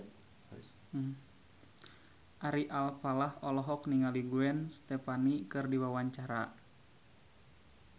Ari Alfalah olohok ningali Gwen Stefani keur diwawancara